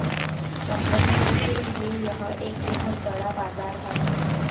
कंपनियों के लिए यह एक बेहद बड़ा बाजार है